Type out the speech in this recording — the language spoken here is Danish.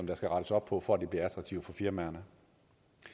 der skal rettes op på for at det bliver attraktivt for firmaerne